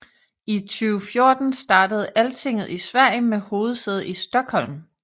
I 2014 startede Altinget i Sverige med hovedsæde i Stockholm